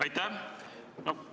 Aitäh!